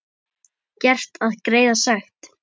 Gert að greiða sekt?